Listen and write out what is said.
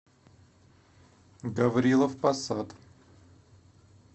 гаврилов посад